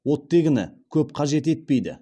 оттегіні көп қажет етпейді